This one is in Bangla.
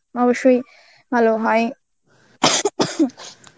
অবশ্যই ভালো হয়